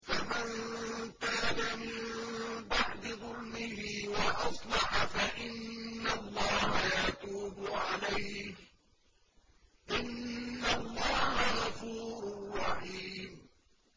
فَمَن تَابَ مِن بَعْدِ ظُلْمِهِ وَأَصْلَحَ فَإِنَّ اللَّهَ يَتُوبُ عَلَيْهِ ۗ إِنَّ اللَّهَ غَفُورٌ رَّحِيمٌ